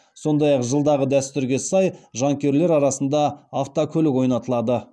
сондай ақ жылдағы дәстүрге сай жанкүйерлер арасында автокөлік ойнатылады